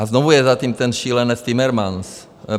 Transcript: A znovu je za tím ten šílenec Timmermans.